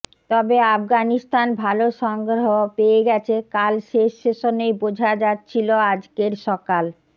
তবে আফগানিস্তান ভালো সংগ্রহ পেয়ে গেছে কাল শেষ সেশনেই বোঝা যাচ্ছিল আজকের সকাল